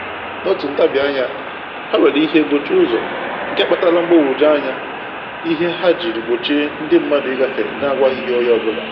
N'otu ntabianya, ha were ihe gbochie ụzọ, nke a kpatara mgbagwoju anya ihe ha jiri gbochie ndi mmadụ ịgafe na-agwaghị onye ọbụla